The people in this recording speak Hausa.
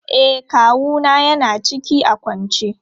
E, kawu na ya na ciki a kwance.